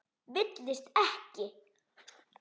Villist ekki!